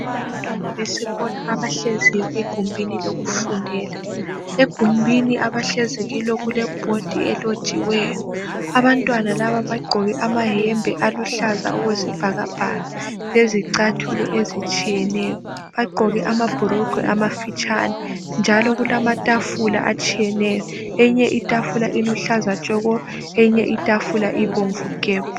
Abantwana besikolo, abahleziyo egumbini lokufundela. Egumbini abahlezi kilo, kulebhodi elotshiweyo. Abantwana laba bagqokile amayembe aluhlaza okwesibhakabhaka, lezicathulo ezitshiyeneyo. Bagqoke amabhurugwe amafitshane. Njalo kulamatafula atshiyeneyo. Enye itafula iluhlaza tshoko! Enye itafula ibomvu gebhu!